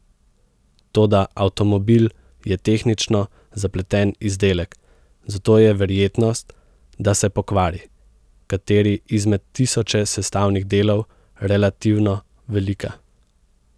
Toda avtomobil je tehnično zapleten izdelek, zato je verjetnost, da se pokvari kateri izmed tisoče sestavnih delov, relativno velika.